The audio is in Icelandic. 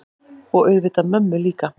Og auðvitað mömmu líka.